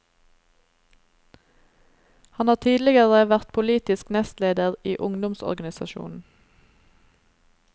Han har tidligere vært politisk nestleder i ungdomsorganisasjonen.